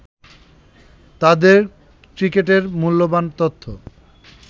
তাদের ক্রিকেটের মূল্যবান তথ্য